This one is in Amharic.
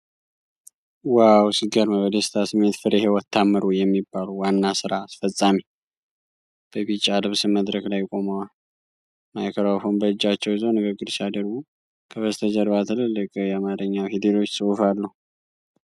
ዋው፣ ሲገርም! በደስታ ስሜት ፍሬ ሕይወት ታምሩ የሚባሉ ዋና ሥራ አስፈፃሚ በቢጫ ልብስ መድረክ ላይ ቆመዋል። ማይክሮፎን በእጃቸው ይዘው ንግግር ሲያደርጉ፣ ከበስተጀርባ ትልልቅ የአማርኛ ፊደሎች ጽሑፍ አሉ።